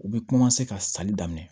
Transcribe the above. U bɛ ka sanni daminɛ